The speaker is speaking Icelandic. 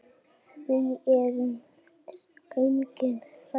Við erum engir þrælar.